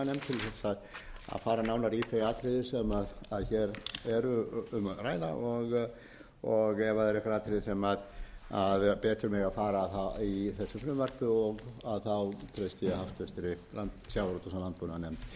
til þess að fara nánar í þau atriði sem hér er um að ræða og ef það eru einhver atriði sem betur mega fara í þessu frumvarpi treysti ég háttvirtum sjávarútvegs og landbúnaðarnefnd fyrir